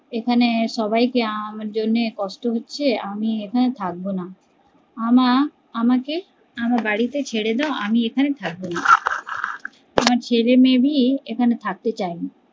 এখানে সবাই কে আমার জন্য কষ্ট হচ্ছে আমি এখানে থাকবো না, আমার আমাকে আমার বাড়ির তে ছেড়ে দাও আমি এখানে থাকবো না আমার ছেলে মেয়ে ভি ও এখানে থাকতে চায় না